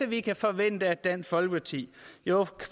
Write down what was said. vi kan forvente af dansk folkeparti